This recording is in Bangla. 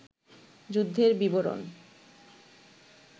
যুদ্ধের বিবরণ